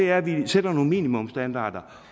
er at vi sætter nogle minimumsstandarder